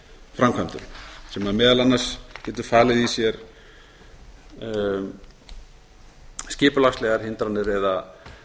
framkvæmdum sem meðal annars getur falið í sér skipulagslegar hindranir eða